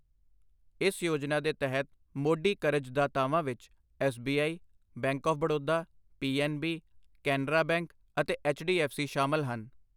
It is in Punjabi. ਇਸ ਯੋਜਨਾ ਦੇ ਤਹਿਤ ਮੋਢੀ ਕਰਜ਼ ਦਾਤਾਵਾਂ ਵਿੱਚ S B I, Bank of Baroda, P N B, Canara Bank ਅਤੇ ਐੱਚ ਡੀ ਐੱਫ ਸੀ ਸ਼ਾਮਿਲ ਹਨ।